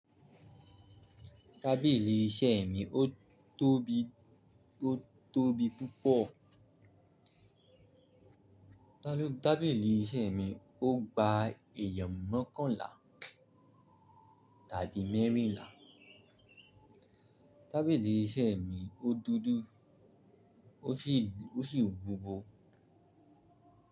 Tábìlì iṣẹ́ mi ó tóbi ó tóbi púpọ̀. Tábìlì iṣẹ́ mi ó gba èèyàn mọ́kọ̀nlá tàbí mẹ́rìnlá. Tábìlì iṣẹ́ mi ó dúdú ó sì, ó sì wúwo.